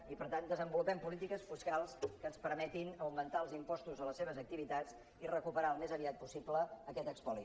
i per tant desenvolupem polítiques fiscals que ens permetin augmentar els impostos a les seves activitats i recuperar al més aviat possible aquest espoli